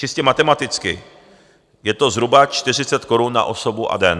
Čistě matematicky je to zhruba 40 korun na osobu a den.